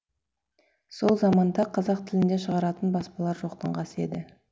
сол заманда қазақ тілінде шығаратын баспалар жоқтың қасы еді